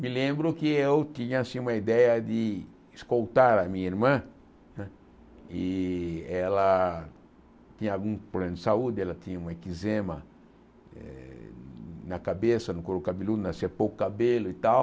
Me lembro que eu tinha assim uma ideia de escoltar a minha irmã né, e ela tinha algum problema de saúde, ela tinha uma eczema eh na cabeça, no couro cabeludo, nascia pouco cabelo e tal,